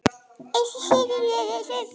eftir Sölva Logason